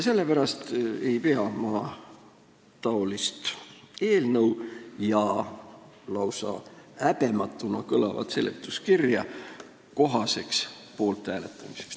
Sellepärast ei pea ma niisugust eelnõu ja lausa häbematuna kõlavat seletuskirja kohaseks, et selle poolt hääletada.